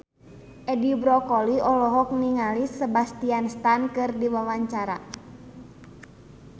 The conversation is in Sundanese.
Edi Brokoli olohok ningali Sebastian Stan keur diwawancara